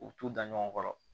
U t'u da ɲɔgɔn kɔrɔ